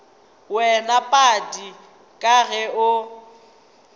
wena padi ka ge o